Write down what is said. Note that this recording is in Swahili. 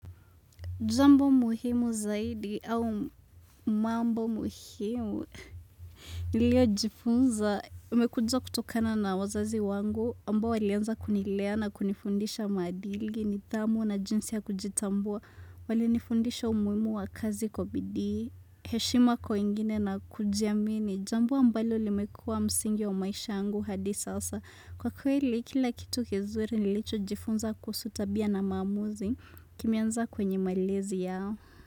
Jambo muhimu zaidi au mambo muhimu. Niliyo jifunza. Imekuja kutokana na wazazi wangu ambao walianza kunilea na kunifundisha maadili nidhamu na jinsi ya kujitambua. Walinifundisha umuhimu wa kazi kwa bidii. Heshima kwa wengine na kujiamini. Jambo ambalo limekuwa msingi wa maisha yangu hadi sasa. Kwa kweli, kila kitu kizuri nilicho jifunza kuhusu tabia na maamuzi kimeanza kwenye malezi yao.